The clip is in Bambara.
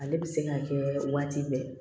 Ale bɛ se ka kɛ waati bɛɛ